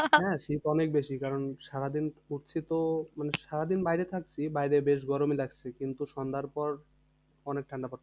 হ্যাঁ শীত অনেক বেশি কারণ সারাদিন ঘুরছিতো মানে সারাদিন বাইরে থাকছি। বাইরে বেশ গরমই লাগছে কিন্তু সন্ধ্যার পর অনেক ঠান্ডা পড়ছে।